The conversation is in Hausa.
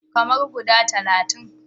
Kamar guda talatin.